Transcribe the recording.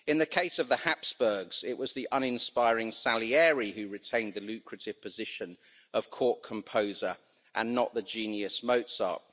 In the case of the Habsburgs, it was the uninspiring Salieri who retained the lucrative position of court composer, and not the genius Mozart.